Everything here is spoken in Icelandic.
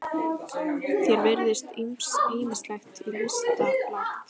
Þér virðist ýmislegt til lista lagt.